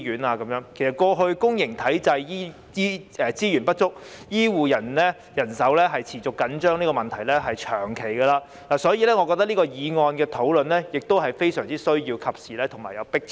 其實，過去公營醫療體系資源不足，醫護人手持續緊張這問題存在已久，所以我認為討論這項議案是非常需要、及時和具有迫切性。